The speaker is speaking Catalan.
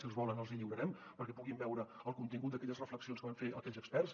si els volen els hi lliurarem perquè puguin veure el contingut d’aquelles reflexions que van fer aquells experts